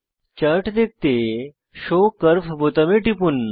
chart দেখতে show curve বোতামে টিপুন